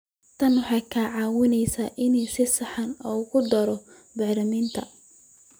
Tani waxay ka caawisaa inuu si sax ah ugu daro bacriminta.